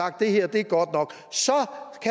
at det her er godt nok